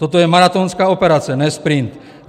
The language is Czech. Toto je maratónská operace, ne sprint.